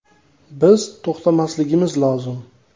Biz to‘xtamasligimiz lozim.